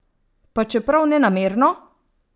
Pa čeprav nenamerno?